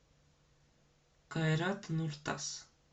кайрат нуртас